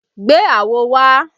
Gbé àwo wá!